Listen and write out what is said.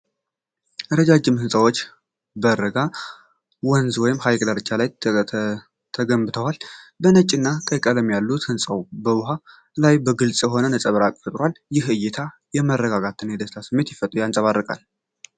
ረጃጅም ህንፃዎች በረጋ ወንዝ ወይም ሐይቅ ዳርቻ ላይ ተገንብተዋል። የነጭና ቀይ ቀለሞች ያሉት ሕንጻው በውሃው ላይ ግልጽ የሆነ ነጸብራቅ ፈጥሯል። ይህ እይታ የመረጋጋትና የደስታ ስሜትን ያንጸባርቃል።